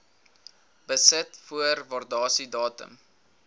besit voor waardasiedatum